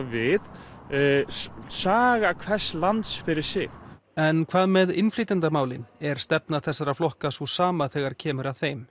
við saga hvers lands fyrir sig en hvað með innflytjendamálin er stefna þessara flokka sú sama þegar kemur að þeim